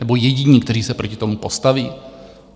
Nebo jediní, kteří se proti tomu postaví?